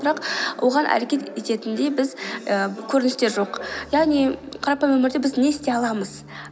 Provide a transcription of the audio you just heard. бірақ оған әрекет ететіндей біз і көріністер жоқ яғни қарапайым өмірде біз не істей аламыз